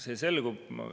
See selgub.